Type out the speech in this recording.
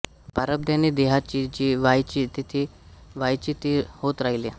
प्रारब्धाने देहाचे जे व्हायचे जेथे व्हायचे ते होत राहील